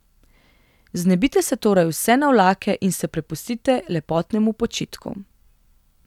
Znebite se torej vse navlake in se prepustite lepotnemu počitku.